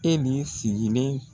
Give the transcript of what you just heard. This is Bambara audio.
Eli sigilen